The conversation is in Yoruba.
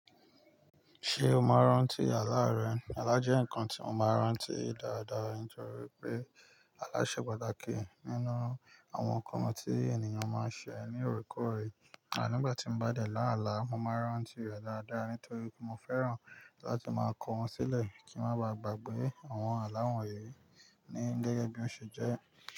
Ṣé o máa ń rántí àlá rẹ? Àlá jẹ́ nǹkan tí mo máa ń rántí dáadáa. Nitori pé àlá ṣe pàtàkì nínú àwọn nǹkan tí ènìyàn máa ń ṣe ní òrekoorẹ̀. À nígbà tí mo bá dẹ̀ láàlá, mo máa ń rántí rẹ̀ dáadáa nítorí pé mo fẹ́ràn láti máa kọ́ wọn sílẹ̀ kí maa ba gbàgbé àwọn àlá wọn yìí ní gẹ́gẹ́ bí ó ṣe jẹ́